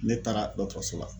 Ne taara dɔtɔrɔso la